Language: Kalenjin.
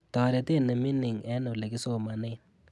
Toretet nemining eng olegisomanen